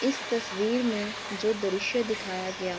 इस तस्वीर में जो दृश्य दिखाया गया --